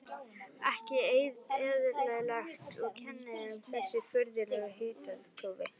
Ekki eðlilegt, og kennir um þessu furðulega hitakófi.